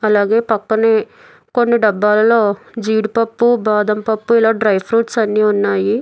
అలాగే పక్కనే కొన్ని డబ్బాలలో జీడిపప్పు బాదంపప్పు ఇలా డ్రై ఫ్రూట్స్ అన్నీ ఉన్నాయి.